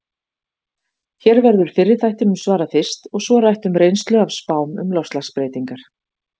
Hér verður fyrri þættinum svarað fyrst, og svo rætt um reynslu af spám um loftslagsbreytingar.